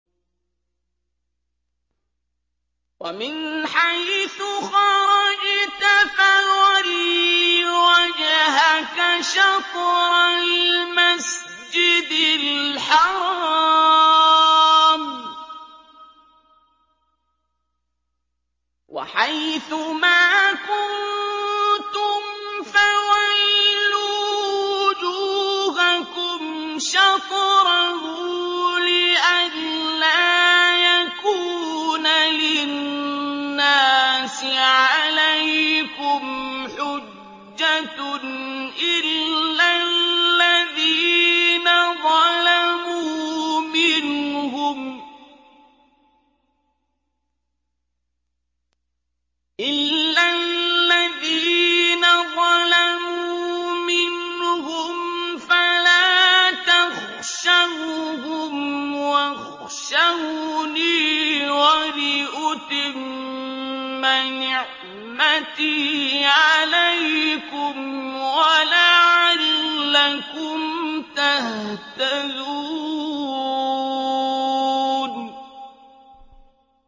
وَمِنْ حَيْثُ خَرَجْتَ فَوَلِّ وَجْهَكَ شَطْرَ الْمَسْجِدِ الْحَرَامِ ۚ وَحَيْثُ مَا كُنتُمْ فَوَلُّوا وُجُوهَكُمْ شَطْرَهُ لِئَلَّا يَكُونَ لِلنَّاسِ عَلَيْكُمْ حُجَّةٌ إِلَّا الَّذِينَ ظَلَمُوا مِنْهُمْ فَلَا تَخْشَوْهُمْ وَاخْشَوْنِي وَلِأُتِمَّ نِعْمَتِي عَلَيْكُمْ وَلَعَلَّكُمْ تَهْتَدُونَ